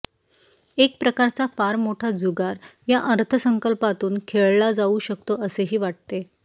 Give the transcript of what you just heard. एकप्रकारचा फार मोठा जुगार या अर्थसंकल्पातून खेळला जाऊ शकतो असेही वाटते